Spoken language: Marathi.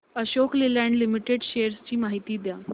अशोक लेलँड लिमिटेड शेअर्स ची माहिती द्या